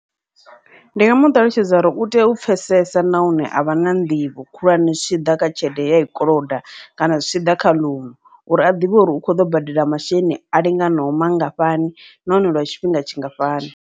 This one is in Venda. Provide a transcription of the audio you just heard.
Ndi nga muṱalutshedza uri utea u pfhesesa nahone avha na nḓivho khulwane zwi tshi ḓa kha tshelede ye ai koloda kana zwi tshi ḓa kha ḽounu, uri a ḓivhe uri u kho ḓo badela masheleni a linganaho mangafhani nahone lwa tshifhinga tshingafhani.